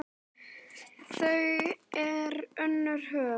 Þar er önnur höfn.